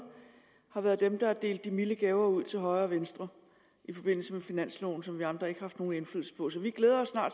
har været dem der har delt milde gaver ud til højre og venstre i forbindelse med finansloven som vi andre ikke har haft nogen indflydelse på så vi glæder os